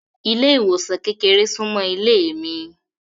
Ile-iwosan kékeré sunmọ ilé mi.